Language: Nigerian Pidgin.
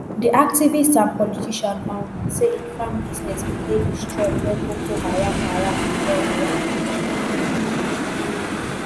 di activist and politician um say im farm business bin dey destroyed wen boko haram haram bin go on a rampage